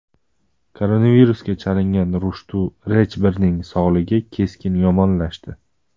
Koronavirusga chalingan Rushtu Rechberning sog‘lig‘i keskin yomonlashdi.